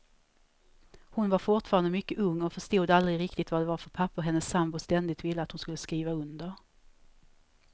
Hon var fortfarande mycket ung och förstod aldrig riktigt vad det var för papper hennes sambo ständigt ville att hon skulle skriva under.